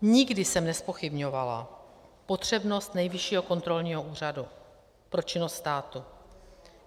Nikdy jsem nezpochybňovala potřebnost Nejvyššího kontrolního úřadu pro činnost státu.